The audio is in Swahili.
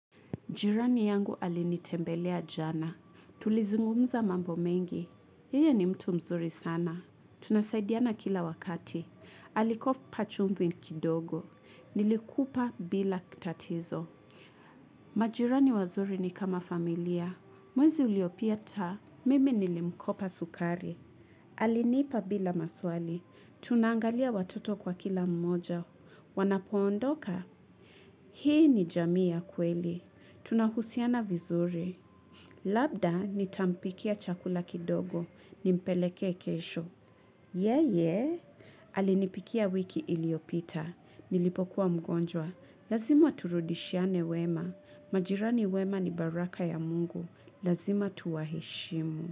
Jirani yangu alinitembelea jana. Tulizungumza mambo mengi. Yeye ni mtu mzuri sana. Tunasaidiana kila wakati. Alikofpa chumvi kidogo. Nilikupa bila kitatizo. Majirani wazuri ni kama familia. Mwezi uliopieta Mimi nilimkopa sukari. Alinipa bila maswali. Tunaangalia watoto kwa kila mmoja. Wanapoondoka. Hii ni jamii ya kweli. Tunahusiana vizuri. Labda nitampikia chakula kidogo. Nimpelekee kesho. Yeyee. Alinipikia wiki iliyopita. Nilipokuwa mgonjwa. Lazima turudishiane wema. Majirani wema ni baraka ya mungu. Lazima tuwaheshimu.